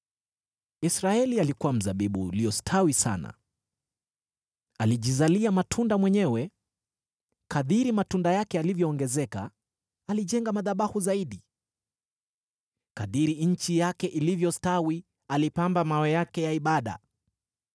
Israeli alikuwa mzabibu uliostawi sana, alijizalia matunda mwenyewe. Kadiri matunda yake yalivyoongezeka, alijenga madhabahu zaidi; kadiri nchi yake ilivyostawi, alipamba mawe yake ya ibada.